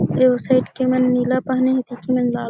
यहु साइड के मन नीला पहने हे एति के मन लाल--